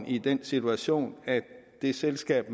i den situation at det selskab